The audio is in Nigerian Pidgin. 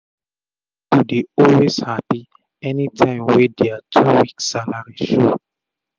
pipu dey always happy anytym wey dia two week salary show